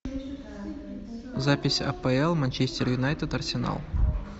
запись апл манчестер юнайтед арсенал